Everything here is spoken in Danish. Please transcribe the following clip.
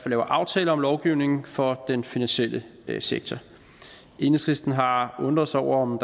laver aftaler om lovgivning for den finansielle sektor enhedslisten har undret sig over om